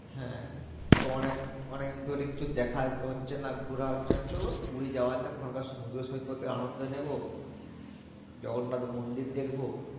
হ্যাঁ তো অনেক অনেক দিন ধরে কিছু দেখা হচ্ছে না ঘুরা হচ্ছে না চলো ঘুরে যাওয়া যাক আমরা সমুদ্র সৈকতে আনন্দ নিবো জগন্নাত মন্দির দেখবো